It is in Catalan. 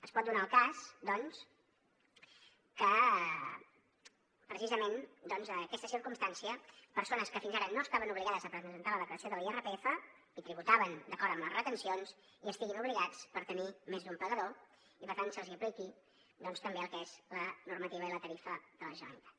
es pot donar el cas doncs que precisament per aquesta circumstància persones que fins ara no estaven obligades a presentar la declaració de l’irpf i tributaven d’acord amb les retencions hi estiguin obligades per tenir més d’un pagador i per tant se’ls apliqui també el que és la normativa i la tarifa de la generalitat